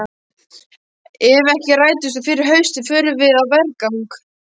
Ef ekki rætist úr fyrir haustið förum við á vergang!